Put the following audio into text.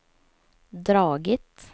dragit